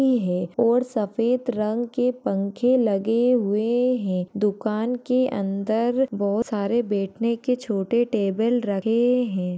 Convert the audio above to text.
हैं और सफेद रंग के पंख लगे हुए हैं। दुकान के अंदर बोहत सारे बैठने के छोटे टेबल रखे हैं।